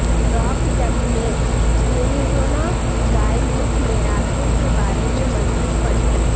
rock چڑھنے Arizona guide book میں راستے کے بارے میں مزید پڑھیں